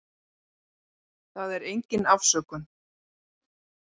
Það er engin afsökun.